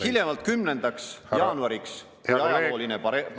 Hiljemalt 10. jaanuariks, kui ajalooline paralleel …